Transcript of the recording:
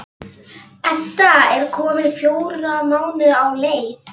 Edda er komin fjóra mánuði á leið.